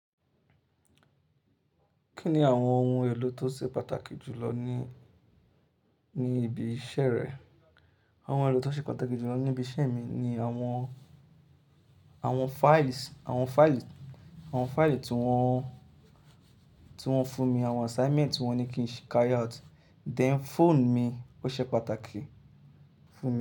Kí ni àwọn ohun èlò tó ṣe pàtàkì jù lọ ní, ní ibi iṣẹ́ rẹ? Àwọn ohun èrò tó ṣe pàtàkì jù lọ ní ibi iṣẹ́ mi ni àwọn, àwọn files, àwọn faili, àwọn faili tí wọ́n, tí wọ́n fún mi, àwọn assignment tí wọ́n ní kí n carry out, then phone mi ó ṣe pàtàkì fún mi.